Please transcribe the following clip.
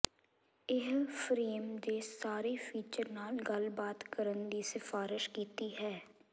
ਇਹ ਫਰੇਮ ਦੇ ਸਾਰੇ ਫੀਚਰ ਨਾਲ ਗੱਲਬਾਤ ਕਰਨ ਦੀ ਸਿਫਾਰਸ਼ ਕੀਤੀ ਹੈ